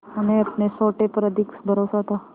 उन्हें अपने सोटे पर अधिक भरोसा था